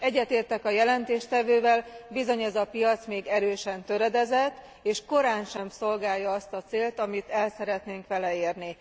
Egyetértek a jelentéstevővel, bizony ez a piac még erősen töredezett, és korántsem szolgálja azt a célt, amit el szeretnénk vele érni.